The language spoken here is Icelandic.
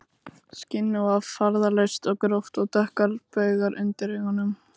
Skinnið var farðalaust og gróft og dökkir baugar undir augunum